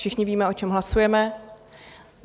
Všichni víme, o čem hlasujeme.